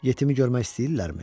Yetimi görmək istəyirlərmi?